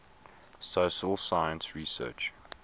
social science research